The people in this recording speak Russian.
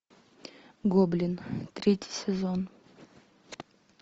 гоблин третий сезон